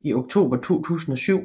i oktober 2007